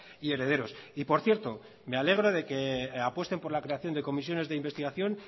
y herederos y por cierto me alegro de que apuesten por la creación de comisiones de investigación